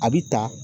A bi ta